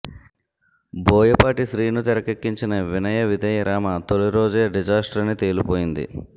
బోయపాటి శ్రీను తెరకెక్కించిన వినయ విధేయ రామ తొలిరోజే డిజాస్టర్ అని తేలిపోయింది